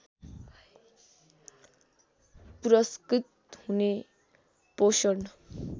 पुरस्कृत हुने पोषण